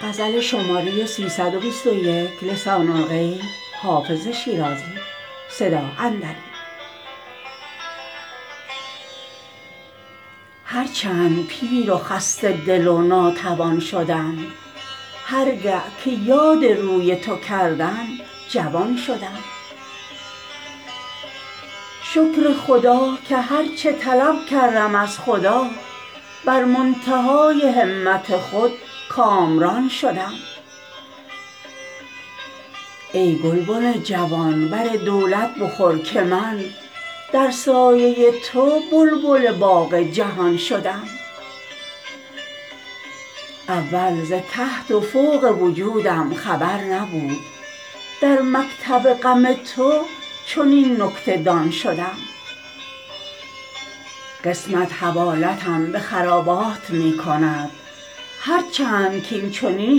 هر چند پیر و خسته دل و ناتوان شدم هر گه که یاد روی تو کردم جوان شدم شکر خدا که هر چه طلب کردم از خدا بر منتهای همت خود کامران شدم ای گلبن جوان بر دولت بخور که من در سایه تو بلبل باغ جهان شدم اول ز تحت و فوق وجودم خبر نبود در مکتب غم تو چنین نکته دان شدم قسمت حوالتم به خرابات می کند هر چند کاینچنین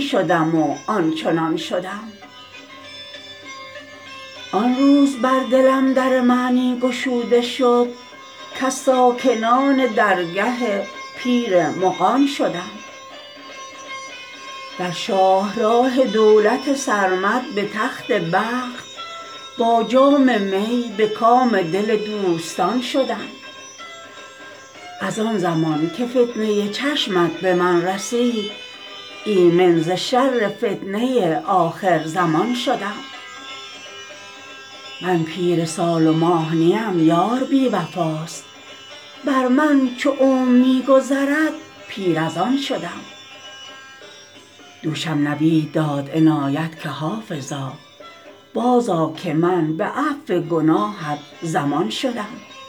شدم و آنچنان شدم آن روز بر دلم در معنی گشوده شد کز ساکنان درگه پیر مغان شدم در شاه راه دولت سرمد به تخت بخت با جام می به کام دل دوستان شدم از آن زمان که فتنه چشمت به من رسید ایمن ز شر فتنه آخرزمان شدم من پیر سال و ماه نیم یار بی وفاست بر من چو عمر می گذرد پیر از آن شدم دوشم نوید داد عنایت که حافظا بازآ که من به عفو گناهت ضمان شدم